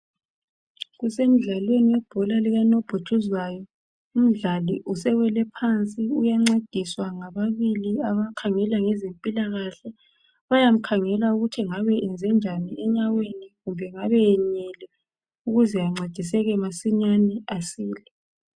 Kusemdlalweni webhola likanobhutshuzwayo umdlali usewele phansi uyancediswa ngababili abakhangela ngezempilakahle. Bayamkhangela ukuthi engabe eyenze njani enyaweni kumbe engabe eyenyele ukuze ancediseke masinyane asile.